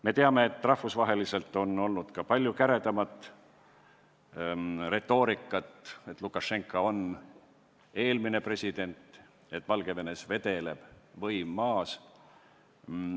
Me teame, et rahvusvaheliselt on olnud ka palju käredamat retoorikat, näiteks öeldakse, et Lukašenka on eelmine president ja Valgevenes vedeleb võim maas.